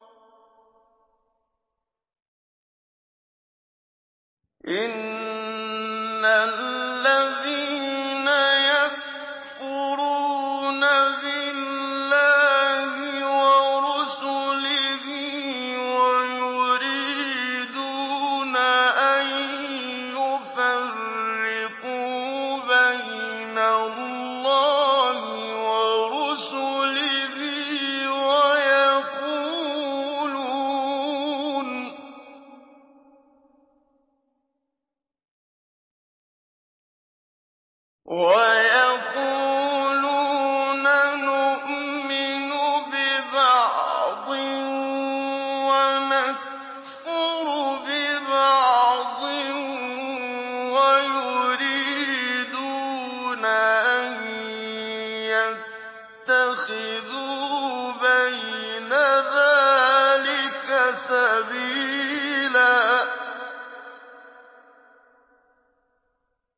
إِنَّ الَّذِينَ يَكْفُرُونَ بِاللَّهِ وَرُسُلِهِ وَيُرِيدُونَ أَن يُفَرِّقُوا بَيْنَ اللَّهِ وَرُسُلِهِ وَيَقُولُونَ نُؤْمِنُ بِبَعْضٍ وَنَكْفُرُ بِبَعْضٍ وَيُرِيدُونَ أَن يَتَّخِذُوا بَيْنَ ذَٰلِكَ سَبِيلًا